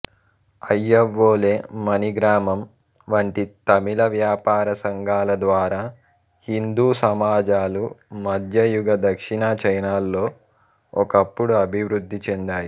అయ్యవోలే మణిగ్రామం వంటి తమిళ వ్యాపార సంఘాల ద్వారా హిందూ సమాజాలు మధ్యయుగ దక్షిణ చైనాలో ఒకప్పుడు అభివృద్ధి చెందాయి